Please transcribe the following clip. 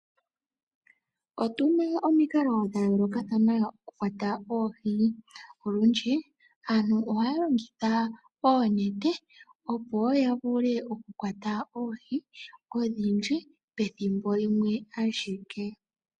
Otuna omikalo dha yoolokathana oku kwatha oohi, olundji aantu ohaya longitha oonete opo ya vule oku kwata oohi odhindji pethimbo lyimwe ashike.